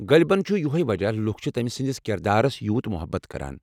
غٲلبن چُھ یہۄے وجہ لُکھ چھِ تمہِ سٕندِس كِردارس یوٗت محبت كران ۔